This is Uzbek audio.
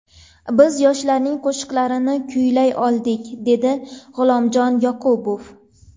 Biz yoshlarning qo‘shiqlarini kuylay oldik”, dedi G‘ulomjon Yoqubov.